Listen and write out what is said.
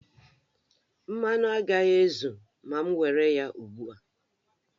Mmanụ agaghị ezu ma m were ya ugbu a